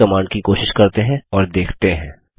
इस कमांड की कोशिश करते हैं और देखते हैं